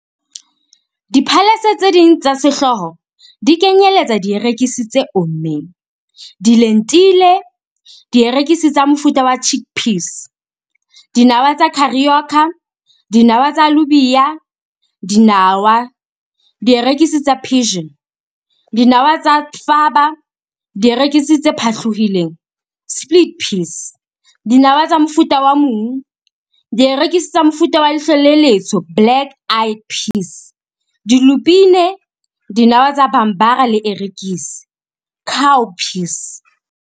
Diphalese tse ding tsa sehlooho di kenyeletsa dierekisi tse ommeng, dilentile, dierekisi tsa mofuta wa chickpeas, dinawa tsa carioca, dinawa tsa alubia, dinawa, dierekisi tsa pigeon, dinawa tsa faba, dierekisi tse phatlohileng, split peas, dinawa tsa mofuta wa mung, dierekisi tsa mofuta wa leihlo le letsho, black eyed peas, dilupine, dinawa tsa bambara le erekisi, cowpeas.